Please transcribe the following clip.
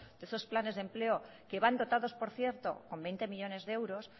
de estos planes de empleo que van dotados por cierto con veinte millónes de euros